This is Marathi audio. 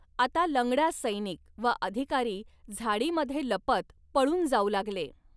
आता लंगडा सैनिक व अधिकारी झाडीमधे लपत पळून जाऊ लागले.